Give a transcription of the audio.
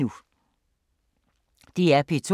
DR P2